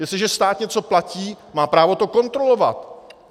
Jestliže stát něco platí, má právo to kontrolovat.